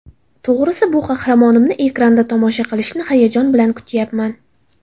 To‘g‘risi, bu qahramonimni ekranda tomosha qilishni hayajon bilan kutayapman.